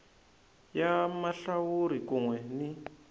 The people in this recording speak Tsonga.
ya mahlawuri kun we ni